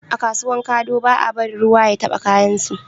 A kasuwan kado ba a barin ruwa ya taba kayan su